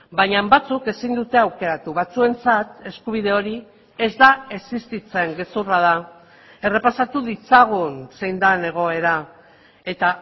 baina batzuk ezin dute aukeratu batzuentzat eskubide hori ez da existitzen gezurra da errepasatu ditzagun zein den egoera eta